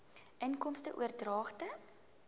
inkomste oordragte